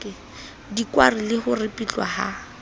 dikwari le ho ripitlwa ha